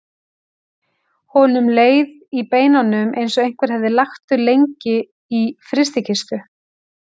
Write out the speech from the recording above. Honum leið í beinunum eins og einhver hefði lagt þau lengi í frystikistu.